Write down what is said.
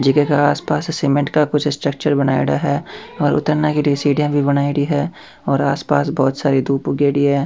जीके का आस पास सीमेंट का कुछ स्ट्रक्चर बनायोडा है और उतरने के लिए सीढ़िया भी बनायेड़ी है और आस पास बहोत सारी दूब उगेड़ी है।